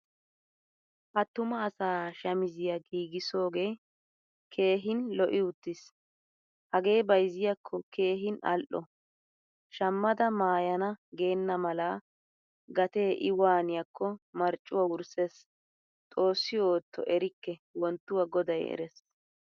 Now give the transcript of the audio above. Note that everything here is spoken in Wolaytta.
Attuma asa shamisiyaa giigsoge kehhin lo'i uttiis. Hagee bayzziyakko keehin al'o. Shamada maayana geenamala gatee i waaniyokko marccuwaa wurssees. Xoosi ootto erikke wonttuwa goday erees.